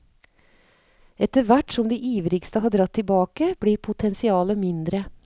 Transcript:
Etterhvert som de ivrigste har dratt tilbake, blir potensialet mindre.